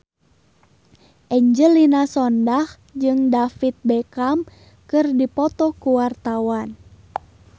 Angelina Sondakh jeung David Beckham keur dipoto ku wartawan